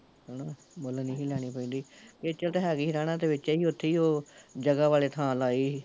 ਮੁੱਲ ਨੀ ਸੀ ਲੈਣੀ ਪੈਂਦੀ, ਖੇਚਲ ਹੈਗੀ ਸੀ, ਰਹਿਣਾ ਤਾਂ ਓਥੇ ਵਿੱਚ ਈ ਓ, ਜਗਾ ਵਾਲੇ ਥਾਂ ਲਾਈ ਸੀ